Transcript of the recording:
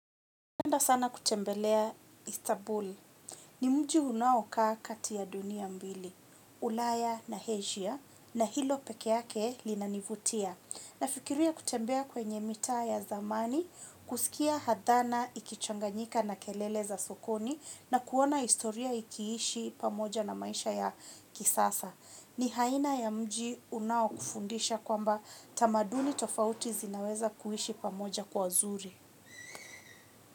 Upenda sana kutembelea istabuli. Ni mji unaokaa kati ya dunia mbili, ulaya na Asia na hilo peke yake linanivutia. Nafikiria kutembea kwenye mitaa ya zamani, kuskia hadhana ikichanganyika na kelele za sokoni na kuona istoria ikiishi pamoja na maisha ya kisasa. Ni haina ya mji unaokufundisha kwamba tamaduni tofauti zinaweza kuhishi pamoja kwa zuri.